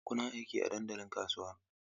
Kuna aiki a dandalin kasuwa?